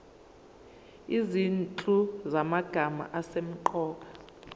izinhlu zamagama asemqoka